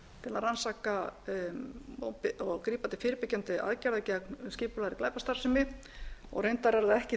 til að rannsaka og grípa til fyrirbyggjandi aðgerða gegn skipulagðri glæpastarfsemi reyndar er það ekki